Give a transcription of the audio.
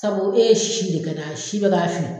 Sabu e ye sisi de kɛ n'a ye sisi bɛ k'a fin